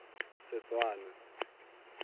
setswana